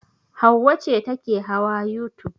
Hauwa ce take hawa youtube.